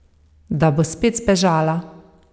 Da bo spet zbežala.